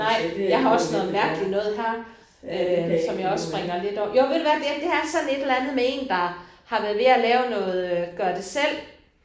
Nej. Jeg har også noget mærkeligt noget her øh som jeg også springer lidt jo ved du hvad jamen det er sådan et eller andet med en der har været ved at lave noget gør det selv